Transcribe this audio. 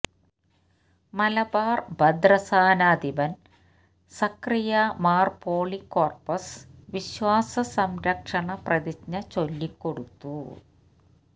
മലബാർ ഭദ്രസനാധിപൻ സക്കറിയ മാർ പോളികോർപ്പസ് വിശ്വാസ സംരക്ഷണ പ്രതിജ്ഞ ചൊല്ലിക്കൊടുത്തു